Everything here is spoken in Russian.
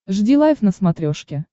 жди лайв на смотрешке